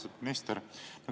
Austatud minister!